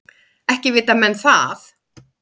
Ekki vita menn það.